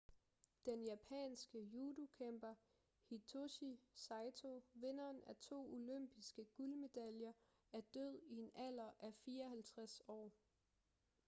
den japanske judokæmper hitoshi saito vinderen af to olympiske guldmedaljer er død i en alder af 54 år